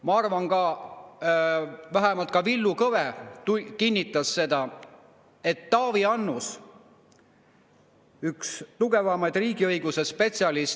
Ma arvan ja vähemalt ka Villu Kõve kinnitas seda, et Taavi Annus on üks tugevamaid riigiõiguse spetsialiste.